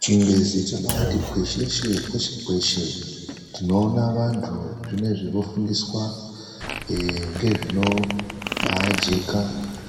Chingezi chabti kwesheshe kwese kwese tinoona vantu zvinezvi vofundiswa eee ngezvinobaajeka